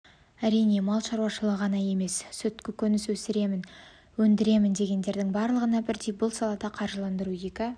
әрине мал шаруашылығы ғана емес сүт көкөніс өсіремін өндіремін дегендердің барлығына бірдей бұл салада қаржыландыру екі